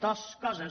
dues coses